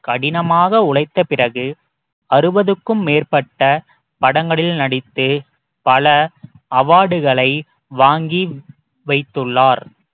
கடினமாக உழைத்த பிறகு அறுபதுக்கும் மேற்பட்ட படங்களில் நடித்து பல award களை வாங்கி வைத்துள்ளார்